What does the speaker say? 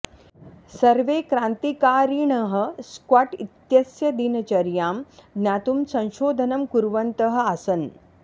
सर्वे क्रान्तिकारिणः स्कॉट् इत्यस्य दिनचर्यां ज्ञातुं संशोधनं कुर्वन्तः आसन्